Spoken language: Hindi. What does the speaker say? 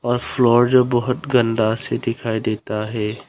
और फ्लोर जो बहुत गंदा सा दिखाई देता है।